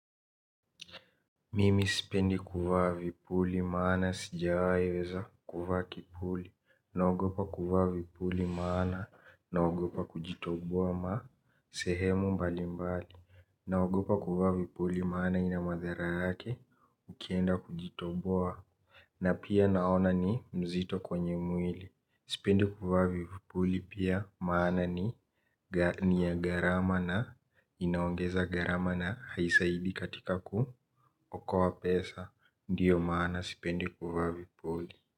Mimi sipendi kuvaa vipuli maana sijawahi weza kuvaa kipuli. Naogopa kuvaa vipuli maana naogopa kujitoboa sehemu mbali mbali. Naogopa kuvaa vipuli maana ina madara yake ukienda kujitoboa na pia naona ni mzito kwenye mwili sipendi kuvaa vipuli pia maana ni ni ya gharama na inaongeza gharama na haisaidii katika kuokoa pesa. Ndio maana sipendi kuvaa vipuli.